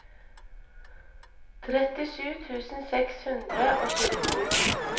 trettisju tusen seks hundre og tjueto